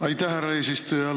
Aitäh, härra eesistuja!